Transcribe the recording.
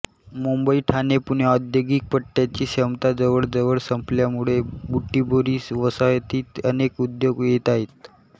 मुंबईठाणेपुणे औद्योगिक पट्ट्याची क्षमता जवळजवळ संपल्यामुळे बुटिबोरी वसाहतीत अनेक उद्योग येत आहेत